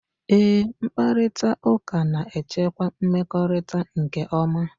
Eé, mkparịtaụka na-echekwa mmekọrịta nke ọma.